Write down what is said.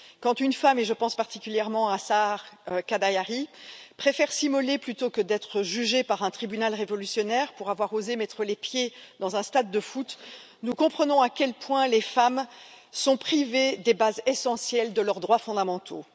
Quand une femme, et je pense particulièrement à Sahar Khodayari, préfère s'immoler plutôt que d'être jugée par un tribunal révolutionnaire pour avoir osé mettre les pieds dans un stade de foot, nous comprenons à quel point les femmes sont privées des bases essentielles de leurs droits fondamentaux.